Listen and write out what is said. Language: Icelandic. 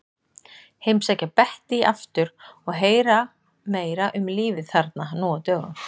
Heimsækja Bettý aftur og heyra meira um lífið þarna nú á dögum.